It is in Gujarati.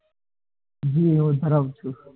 હમ હું ધરાવું છુ.